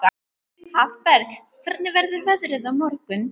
Hafberg, hvernig verður veðrið á morgun?